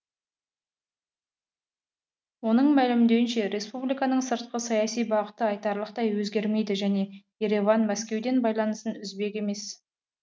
оның мәлімдеуінше республиканың сыртқы саяси бағыты айтарлықтай өзгермейді және ереван мәскеуден байланысын үзбек емес